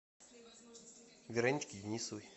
вероничке денисовой